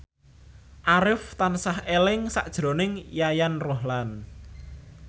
Arif tansah eling sakjroning Yayan Ruhlan